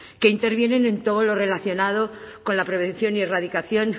que intervienen en todo lo relacionado con la prevención y erradicación